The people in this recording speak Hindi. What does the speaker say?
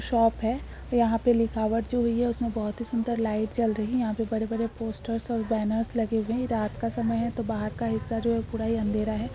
शॉप है | यहाँ पे लिखा हुआ है उसमे बोहत ही सुन्दर लाइट जल रही है | यहाँ पे बड़े -बड़े पोस्टर और बेनर्स लगे हुये हैं | यह रात का समय है तो बाहर का जो हिस्सा है पूरा ही अँधेरा है ।